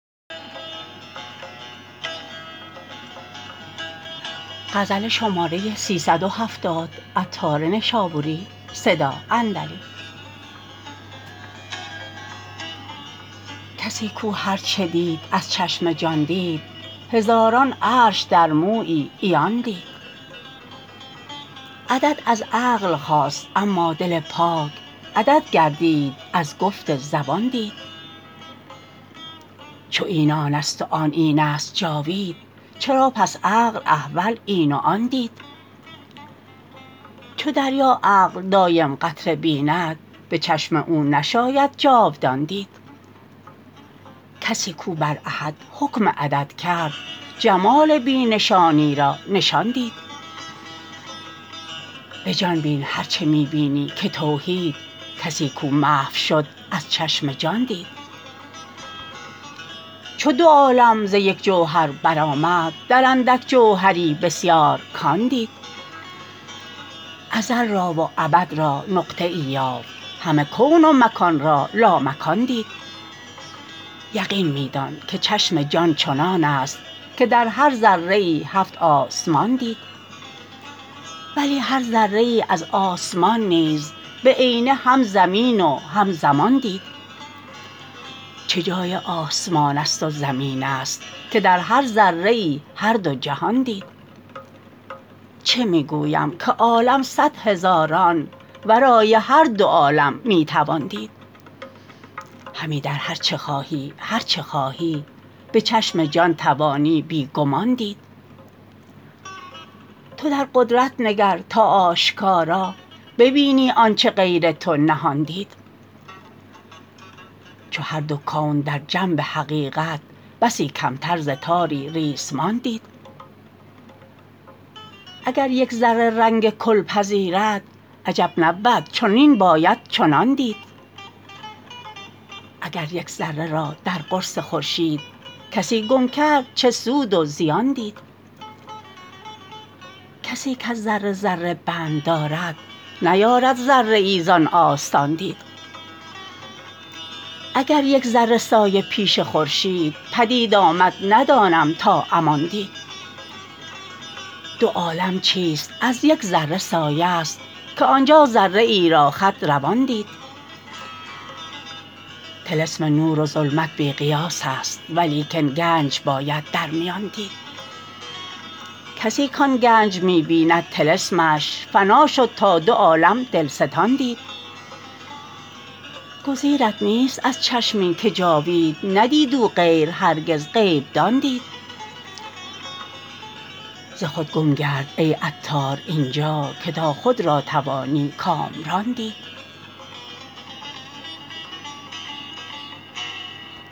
کسی کو هرچه دید از چشم جان دید هزاران عرش در مویی عیان دید عدد از عقل خاست اما دل پاک عدد گر دید از گفت زبان دید چو این آن است و آن این است جاوید چرا پس عقل احول این و آن دید چو دریا عقل دایم قطره بیند به چشم او نشاید جاودان دید کسی کو بر احد حکم عدد کرد جمال بی نشانی را نشان دید به جان بین هرچه می بینی که توحید کسی کو محو شد از چشم جان دید چو دو عالم ز یک جوهر برآمد در اندک جوهری بسیار کان دید ازل را و ابد را نقطه ای یافت همه کون و مکان را لامکان دید یقین می دان که چشم جان چنان است که در هر ذره ای هفت آسمان دید ولی هر ذره ای از آسمان نیز به عینه هم زمین و هم زمان دید چه جای آسمان است و زمین است که در هر ذره ای هر دو جهان دید چه می گویم که عالم صد هزاران ورای هر دو عالم می توان دید همی در هرچه خواهی هرچه خواهی به چشم جان توانی بی گمان دید تو در قدرت نگر تا آشکارا ببینی آنچه غیر تو نهان دید چو هر دو کون در جنب حقیقت بسی کمتر ز تاری ریسمان دید اگر یک ذره رنگ کل پذیرد عجب نبود چنین باید چنان دید اگر یک ذره را در قرص خورشید کسی گم کرد چه سود و زیان دید کسی کز ذره ذره بند دارد نیارد ذره ای زان آستان دید اگر یک ذره سایه پیش خورشید پدید آمد ندانم تا امان دید دو عالم چیست از یک ذره سایه ست که آنجا ذره ای را خط روان دید طلسم نور و ظلمت بی قیاس است ولیکن گنج باید در میان دید کسی کان گنج می بیند طلسمش فنا شد تا دو عالم دلستان دید گزیرت نیست از چشمی که جاوید ندید او غیر هرگز غیب دان دید ز خود گم گرد ای عطار اینجا که تا خود را توانی کامران دید